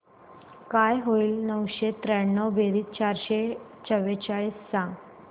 काय होईल नऊशे त्र्याण्णव बेरीज चारशे चव्वेचाळीस सांग